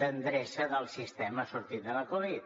d’endreça del sistema sortint de la covid